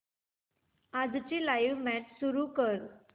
आजची live match सुरू कर